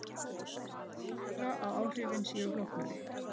Einnig kann að vera að áhrifin séu flóknari.